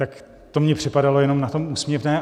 Tak to mně připadalo jenom na tom úsměvné.